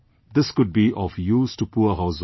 This could be of use to poor households